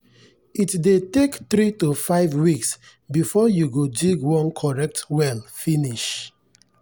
it dey take three to five weeks before u go dig one correct well finish.